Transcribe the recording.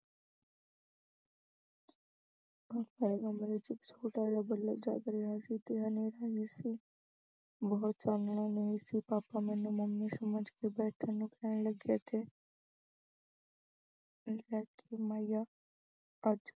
mummy ਦੇ ਕਮਰੇ ਵਿੱਚ ਇੱਕ ਛੋਟਾ ਜਿਹਾ ਬੱਲਬ ਜਗ ਰਿਹਾ ਸੀ ਤੇ ਹਨੇਰਾ ਵੀ ਸੀ ਬਹੁਤ ਚਾਨਣ ਨਹੀਂ ਸੀ papa ਮੈਨੂੰ mummy ਸਮਝ ਕੇ ਬੈਠਣ ਨੂੰ ਕਹਿਣ ਲੱਗੇ ਅਤੇ ਅੱਜ